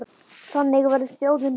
Þannig verður þjóðin rík.